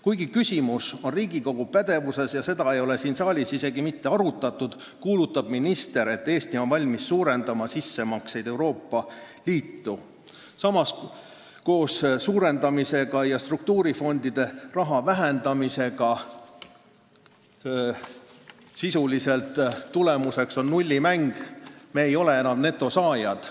Kuigi küsimus on Riigikogu pädevuses ja seda ei ole siin saalis isegi mitte arutatud, kuulutab minister, et Eesti on valmis suurendama sissemakseid Euroopa Liitu, ehkki koos selle suurendamisega ja struktuurifondide raha vähendamisega on tulemuseks sisuliselt nullimäng – me ei ole enam netosaajad.